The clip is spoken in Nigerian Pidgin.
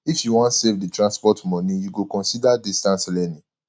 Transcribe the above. if you wan save transport moni you go consider distance learning